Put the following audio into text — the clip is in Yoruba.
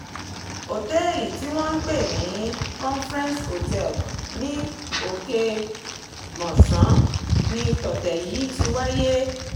ọ̀tẹ̀ẹ̀lì tí wọ́n ń pè ní conference hotel oke-mọ̀sán ní tọ̀tẹ̀ yìí ti wáyé